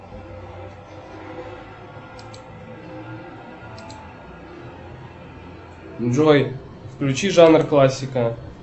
джой включи жанр классика